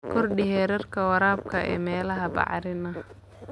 Kordhi heerka waraabka ee meelaha bacrin ah.